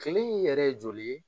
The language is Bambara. Kilen in yɛrɛ ye joli ye?